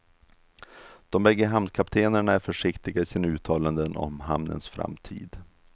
De bägge hamnkaptenerna är försiktiga i sina uttalanden om hamnens framtid.